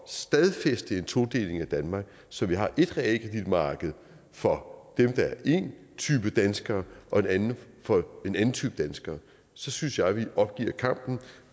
stadfæste en todeling af danmark så vi har ét realkreditmarked for én type danskere og et andet for en anden type danskere så synes jeg at vi